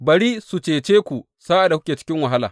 Bari su cece ku sa’ad da kuke cikin wahala!